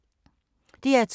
DR2